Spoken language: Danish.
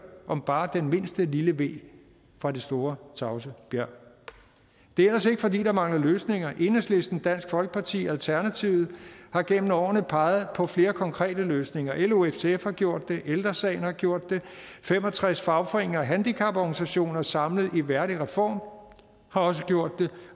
om bare den mindste lille ve fra det store tavse bjerg det er ellers ikke fordi der mangler løsninger enhedslisten dansk folkeparti og alternativet har gennem årene peget på flere konkrete løsninger lo og ftf har gjort det ældre sagen har gjort det fem og tres fagforeninger og handicaporganisationer samlet i værdigreform har også gjort det